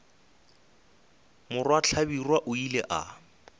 morwa hlabirwa o ile a